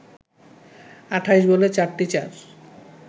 ২৮ বলে ৪টি চার